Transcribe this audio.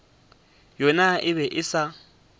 yona e be e sa